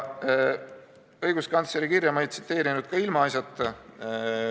Õiguskantsleri kirja ma ei tsiteerinud ka ilmaasjata.